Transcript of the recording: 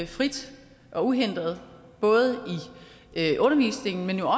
frit og uhindret både i undervisningen men jo